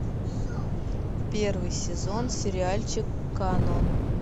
первый сезон сериальчик канон